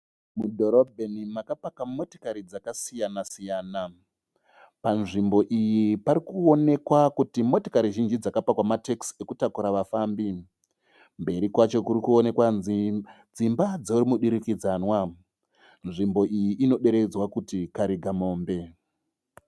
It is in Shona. Mudhorobheni makapaka motokari dzakasiyana siyana. Panzvimbo iyi parikuwonekwa kuti motokari zhinji dzakapakwa matekisi ekutakura vafambi. Mberi kwacho kurikuoneka dzimba dzomudurikidzanwa. Nzvimbo iyi inodaidzwa kuti karigamombe.